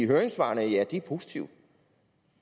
høringssvarene ja de er positive